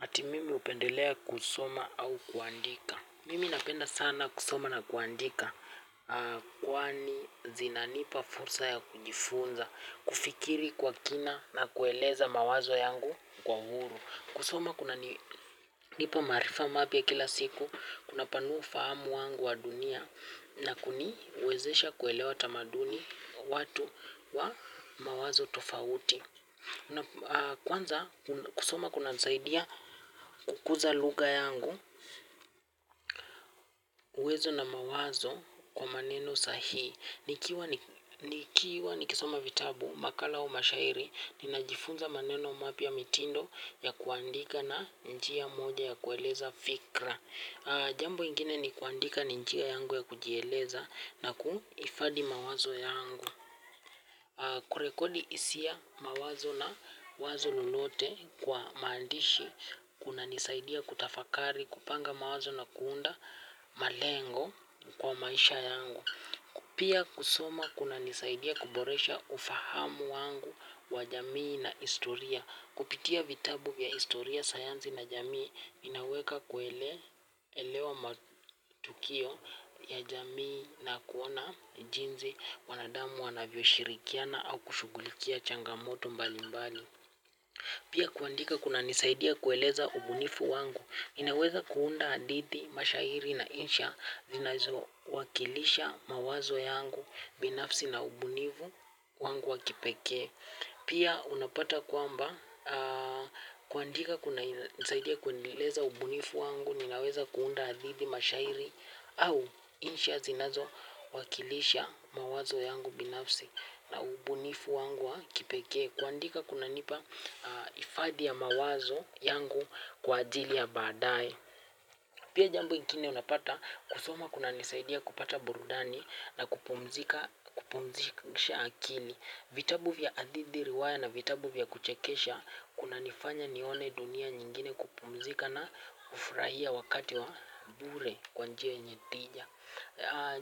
Ati mimi upendelea kusoma au kuandika. Mimi napenda sana kusoma na kuandika. Kwani zinanipa fursa ya kujifunza kufikiri kwa kina na kueleza mawazo yangu kwa uhuru kusoma kunani ndipo maarifa mapya kila siku kunapanua ufahamu wangu wa dunia na kuniwezesha kuelewa tamaduni watu wa mawazo tofauti kwanza kusoma kunanisaidia kukuza lugha yangu. Uwezo na mawazo kwa maneno sahii. Nikiwa nikisoma vitabu makala au mashairi ninajifunza maneno mapya mitindo ya kuandika na njia moja ya kueleza fikra. Jambo ingine ni kuandika ni njia yangu ya kujieleza na kuhifadhi mawazo yangu. Kurekodi hisia mawazo na wazo lolote kwa maandishi kunanisaidia kutafakari kupanga mawazo na kuunda malengo kwa maisha yangu pia kusoma kunanisaidia kuboresha ufahamu wangu wa jamii na historia. Kupitia vitabu vya historia sayansi na jamii inaweka kuelewa matukio ya jamii na kuona jinsi wanadamu wanavyo shirikiana au kushughulikia changamoto mbalimbali pia kuandika kunanisaidia kueleza ubunifu wangu inaweza kuunda hadithi mashairi na insha zinazowakilisha mawazo yangu binafsi na ubunifu wangu wa kipekee. Pia unapata kwamba ahh kuandika kunanisaidia kuendeleza ubunifu wangu ninaweza kuunda hadhithi mashairi au insha zinazowakilisha mawazo yangu binafsi na ubunifu wangu wa kipekee. Kuandika kunanipa hifadhi ya mawazo yangu kwa ajili ya baadaye. Pia jambo ingine unapata kusoma kunanisaidia kupata burudani na kupumzisha akili. Vitabu vya hadithi riwaya na vitabu vya kuchekesha kunanifanya nione dunia nyingine kupumzika na kufurahia wakati wa bure kwa njia yenye tija.